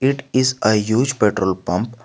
It is a used petrol pump.